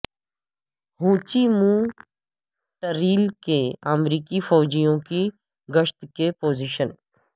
ہو Chi Minh trail کے امریکی فوجیوں کی گشت کی پوزیشن